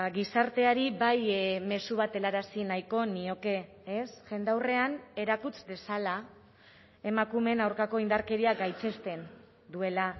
gizarteari bai mezu bat helarazi nahiko nioke ez jendaurrean erakuts dezala emakumeen aurkako indarkeria gaitzesten duela